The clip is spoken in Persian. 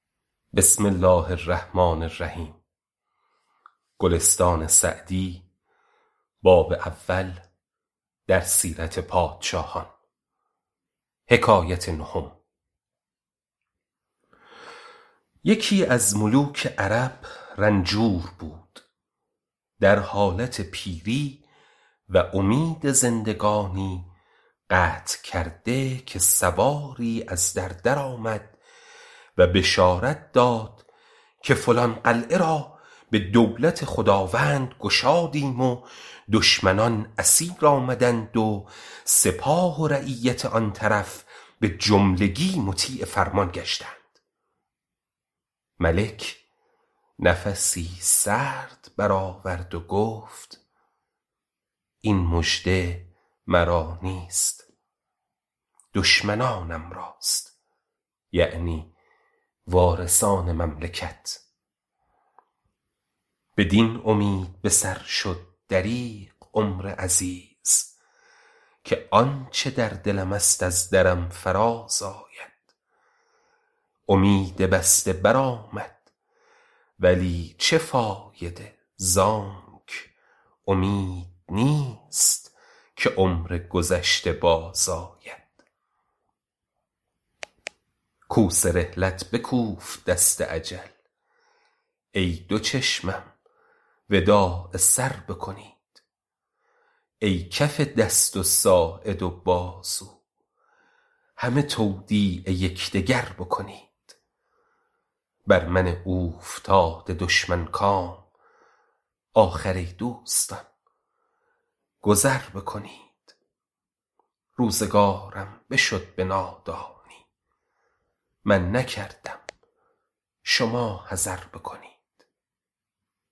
یکی از ملوک عرب رنجور بود در حالت پیری و امید زندگانی قطع کرده که سواری از در درآمد و بشارت داد که فلان قلعه را به دولت خداوند گشادیم و دشمنان اسیر آمدند و سپاه و رعیت آن طرف به جملگی مطیع فرمان گشتند ملک نفسی سرد بر آورد و گفت این مژده مرا نیست دشمنانم راست یعنی وارثان مملکت بدین امید به سر شد دریغ عمر عزیز که آنچه در دلم است از درم فراز آید امید بسته بر آمد ولی چه فایده زانک امید نیست که عمر گذشته باز آید کوس رحلت بکوفت دست اجل ای دو چشمم وداع سر بکنید ای کف دست و ساعد و بازو همه تودیع یکدگر بکنید بر من اوفتاده دشمن کام آخر ای دوستان گذر بکنید روزگارم بشد به نادانی من نکردم شما حذر بکنید